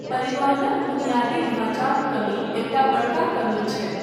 परिवहनक बुनियादी ढाँचाक कमी एकटा बड़का कमी छै।